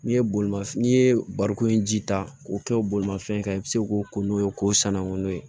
N'i ye bolimafɛn n'i ye barikon in ji ta k'o kɛ bolimafɛn kan i bɛ se k'o ko n'o ye k'o sanango n'o ye